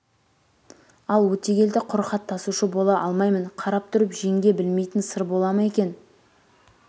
ал өтегелді құр хат тасушы бола алмаймын қарап тұрып жеңге білмейтін сыр бола ма екен